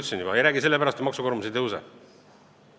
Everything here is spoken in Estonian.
Keegi ei räägi sellest sellepärast, et maksukoormus ei kasva.